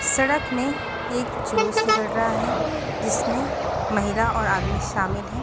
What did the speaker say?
सड़क में एक जुलूस निकल रहा है जिसमें महिला और आदमी शामिल है।